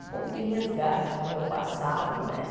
Um pouco de resgate do meu passado, né?